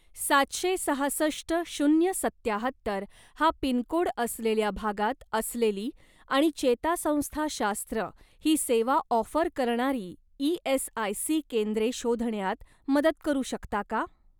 सातशे सहासष्ट शून्य सत्याहत्तर हा पिनकोड असलेल्या भागात असलेली आणि चेतासंस्थाशास्त्र ही सेवा ऑफर करणारी ई.एस.आय.सी. केंद्रे शोधण्यात मदत करू शकता का?